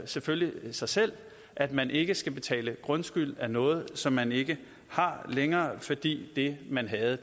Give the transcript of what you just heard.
selvfølgelig sig selv at man ikke skal betale grundskyld af noget som man ikke længere har fordi det man havde